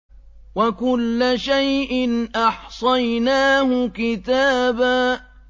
وَكُلَّ شَيْءٍ أَحْصَيْنَاهُ كِتَابًا